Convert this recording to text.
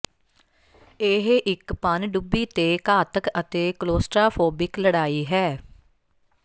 ਇਹ ਇੱਕ ਪਣਡੁੱਬੀ ਤੇ ਘਾਤਕ ਅਤੇ ਕਲੋਸਟ੍ਰਾਫੋਬਿਕ ਲੜਾਈ ਹੈ